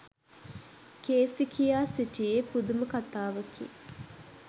Cayce කියා සිටියේ පුදුම කථාවකි.